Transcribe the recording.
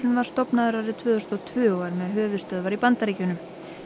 var stofnaður árið tvö þúsund og tvö og er með höfuðstöðvar í Bandaríkjunum